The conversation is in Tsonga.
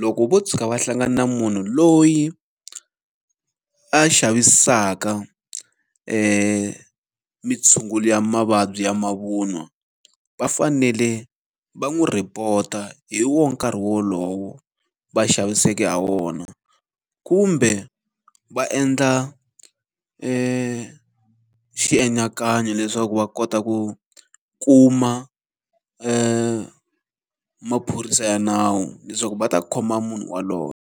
loko ko tshuka va hlangana na munhu loyi a xavisaka mitshungulo mavabyi ya mavun'wa, va fanele va n'wi rhipota hi wo nkarhi wolowo va xaviseke ha wona. Kumbe va endla xienyakanyo leswaku va kota ku kuma maphorisa ya nawu leswaku va ta khoma munhu yaloye.